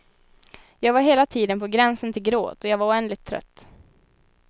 Jag var hela tiden på gränsen till gråt och jag var oändligt trött.